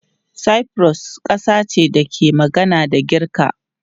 Cyprus kasa ce da ke magana da Girka.